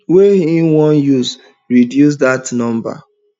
wey im wan use reduce dat number